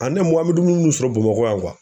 an me dumuni min sɔrɔ Bamakɔ yan